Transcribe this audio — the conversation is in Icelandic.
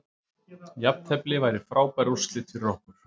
Jafntefli væri frábær úrslit fyrir okkur